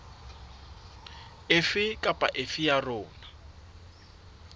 efe kapa efe ya yona